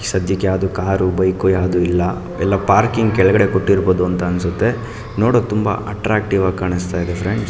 ಸದ್ಯಕ್ಕೆ ಯಾವ್ದು car bike ಎಲ್ಲ ಪಾರ್ಕಿಂಗ್ ಕೆಳಗಡೆ ಕೊಟ್ಟಿರಬಹುದು ಅನ್ಸುತ್ತೆ ನೋಡೋಕೆ ತುಂಬ ಅಟ್ಟ್ರಕ್ಟಿವ್ ಆಗಿ ಕಾಣಿಸ್ತಾ ಇದೆ ಫ್ರೆಂಡ್ಸ್ .